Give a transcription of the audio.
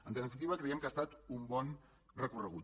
en definitiva creiem que ha estat un bon recorregut